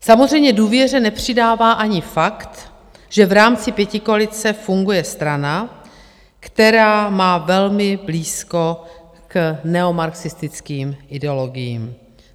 Samozřejmě důvěře nepřidává ani fakt, že v rámci pětikoalice funguje strana, která má velmi blízko k neomarxistickým ideologiím.